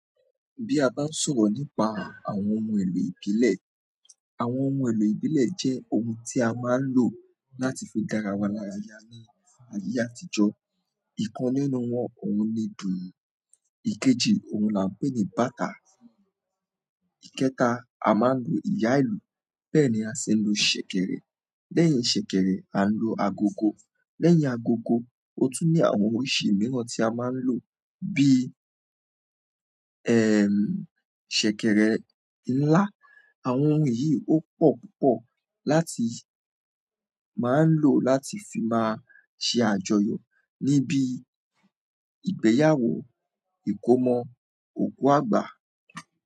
Bí a bá ń sọ̀rọ̀ nípa àwọn ohun èlò ìbílẹ̀, àwọn ohun èlò ìbílẹ̀ jẹ́ ohun tí a máa ń lò láti fi dára wa lára ya ní ayé àtijọ́. Ìkan nínú wọn òun le dùndu, ìkejì òun là ń pè ní bàatá, ìkẹta a máa ń lo ìyá ìlú bẹ́ẹ̀ ni a ṣe ń lo ṣẹ̀kẹ̀rẹ̀, lẹ́yìn ṣẹ̀kẹ̀rẹ̀ a ń lo agogo, lẹ́yìn agogo ó tún ní àwọn oríṣi mìíràn tí a máa ń lò bí i ẹẹ̀ ṣẹ̀kẹ̀rẹ̀ ńlá. Àwọn ohun yìí ó pò púpọ̀ láti máa ń lò láti fi máa ṣe àjọyọ̀ níbi ìgbéyàwó, ìkómọ, òkú àgbà.